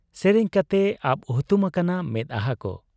ᱥᱮᱨᱮᱧ ᱠᱟᱛᱮᱭ ᱟᱵ ᱦᱩᱛᱩᱢ ᱟᱠᱟᱱᱟ ᱢᱮᱫᱦᱟᱠᱚ ᱾